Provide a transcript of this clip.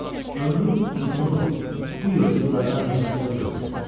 Ömrün uzunu bu yırtıcılardan neçəsini öldürmüsən?